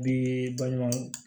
Bi baɲumankɛ